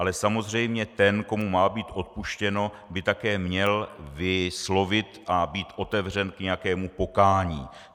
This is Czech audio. Ale samozřejmě ten, komu má být odpuštěno, by také měl vyslovit a být otevřen k nějakému pokání.